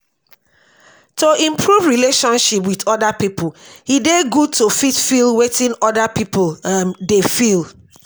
to improve relationship with oda pipo e dey good to fit feel wetin oda pipo um dey feel